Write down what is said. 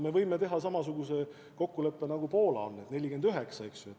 Me võime teha samasuguse kokkuleppe nagu Poola, eks ju.